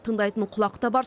тыңдайтын құлақ та бар